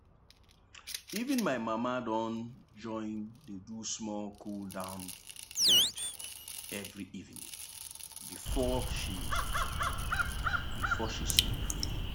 even my mama don join dey do small cool-down bend every evening before she before she sleep.